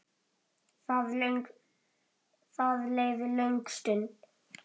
Það leið löng stund.